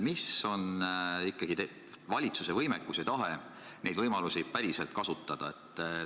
Milline on ikkagi valitsuse võimekus ja tahe neid võimalusi päriselt kasutada?